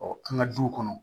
an ka duw kɔnɔ